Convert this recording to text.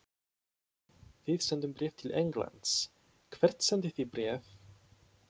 Við sendum bréf til Englands. Hvert sendið þið bréf?